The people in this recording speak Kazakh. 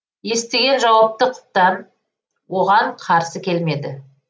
естіген жауапты құптап оған қарсы келмеді